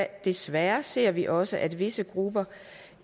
desværre ser vi også at visse grupper